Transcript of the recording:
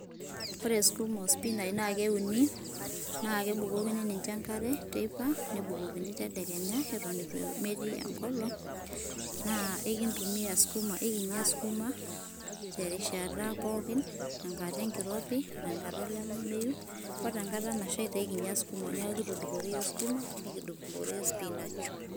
Ore sukuma ospinach na keuni, na kebukokini ninche enkare, teipa nebukokini tedekenya, eton etu metiii engolong na enkitumia ekinya sukuma terishata pooki tenkata enkirobi otenkata olameyu, ore enkata nashaita na ekinyia iyiok sukuma ,niaku kitudupore iyiok sukuma, nikitudupore spinach,